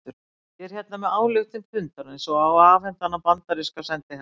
Ég er hérna með ályktun fundarins og á að afhenda hana bandaríska sendiherranum